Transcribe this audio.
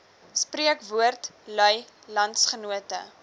spreekwoord lui landsgenote